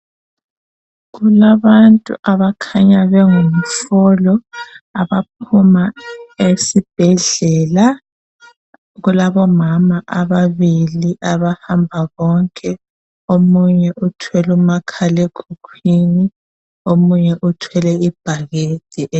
Kulabantu abakhanya bengumfolo abaphuma esibhedlela. Kulabomama ababili abahamba bonke. Omunye uthwele umakhalekhukhwini, omunye uthwele ibhakede e.